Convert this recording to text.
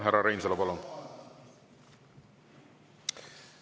Härra Reinsalu, palun!